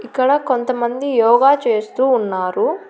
ఇక్కడ కొంతమంది యోగా చేస్తూ ఉన్నారు.